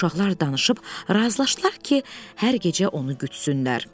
Uşaqlar danışıb razılaşdılar ki, hər gecə onu gütsünlər.